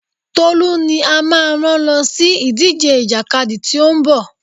Tolú ni a máa rán lọ sí ìdíje ìjàkadì tí ó ń bọ̀.